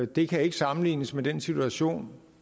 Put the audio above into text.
det kan ikke sammenlignes med den situation